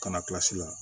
Kana kilasi la